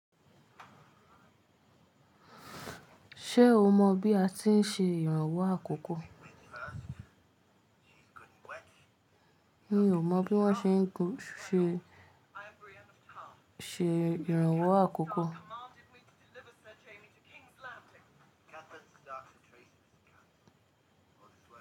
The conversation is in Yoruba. Ṣé o mọ bí a ti ń ṣe ìrànwọ́ àkókò? Mi ò mọ bí wón ṣe ń ṣe, ṣe ìrànwọ́ àkókò.